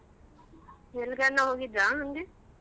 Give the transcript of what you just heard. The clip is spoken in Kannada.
ಎಲ್ಗಾನು ಹೋಗಿದ್ರ ಹಂಗೆ?